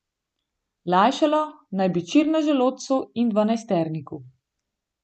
Lajšalo naj bi čir na želodcu in dvanajsterniku.